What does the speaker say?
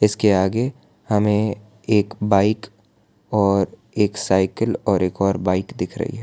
इसके आगे हमें एक बाइक और एक साइकिल और एक और बाइक दिख रहीं है।